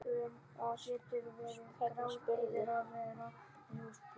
Vá, hvernig spyrðu?